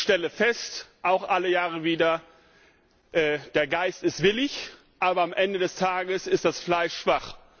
Ich stelle fest, auch alle Jahre wieder Der Geist ist willig, aber am Ende des Tages ist das Fleisch schwach.